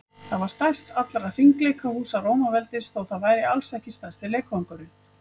það var stærst allra hringleikahúsa rómaveldis þótt það væri alls ekki stærsti leikvangurinn